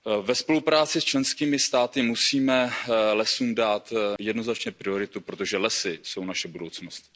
Ve spolupráci s členskými státy musíme lesům dát jednoznačně prioritu, protože lesy jsou naše budoucnost.